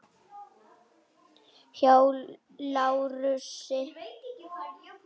Hjá Lárusi.